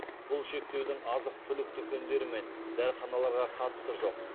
бұл шектеудің азық түлік дүкендері мен дәріханаларға қатысы жоқ